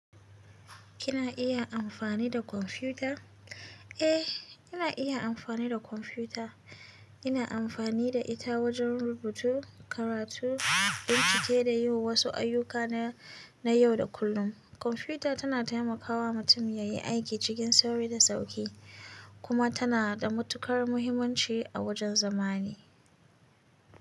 Kina iya amfani da kwamfuta? Eh, ina iya amfani da kwamfuta. Ina amfani da ita wajen rubutu, karatu, bincike da yin wasu ayyuka na yau da kullum. Kwamfuta tana taimakawa mutum yayi aiki cikin sauri da sauƙi kuma tana da matuƙar muhimmanci a wajen zamani.